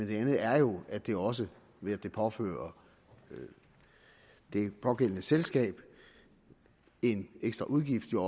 det andet er jo at det også ved at det påfører det pågældende selskab en ekstra udgift giver